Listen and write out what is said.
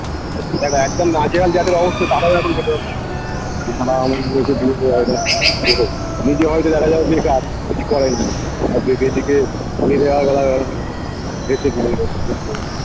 দেখো একদম নাজেহাল যাদের অবস্থা কারোরই এখন নিজে হয়তো দেখা যাবে বেকার কিছু করেই না আর দেখে দেখে